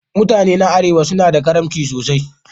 Mutane na Arewa suna da karimci sosai.